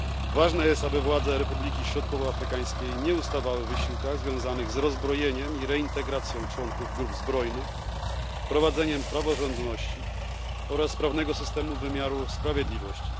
Ważne jest, aby władze Republiki Środkowoafrykańskiej nie ustawały w wysiłkach związanych z rozbrojeniem i reintegracją członków grup zbrojnych, a także wprowadzeniem praworządności i sprawnego systemu wymiaru sprawiedliwości.